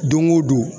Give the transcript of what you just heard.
Don o don